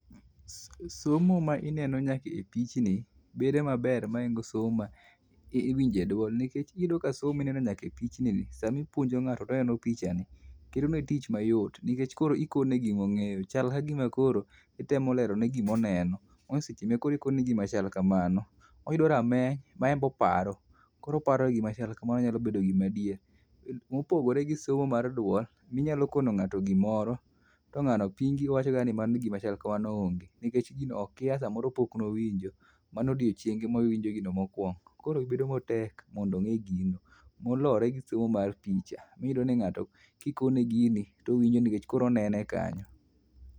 somo ma ineno nyaka e pichni bedo maber maingo somo maiwinje duol nikech iyudo ka somo ma ineno nyaka epichni ni samipuonjo ngato toneno pichani bedo mayot nikech koro ikone gima ongeyo chalka gima koro itemo lerone gima oneno omiya seche makoro ikone gima chal kamano oyudo rameny maenbe oparo koro oparo gima chal kamano nyalo bedo gima adier mopogore gi somo mar duol minyalo koono ngato gimoro tongano pingi owacho kata ni mano gima chal kamano onge nikech gino okia gima chal kamano pok nowinjo mano odiochienge mowinjo gino mokwongo koro bedo matek mondo ongee gino molore gi somo mar picha miyudo ka ngato kikone gini towinjo nikech koro onene kanyo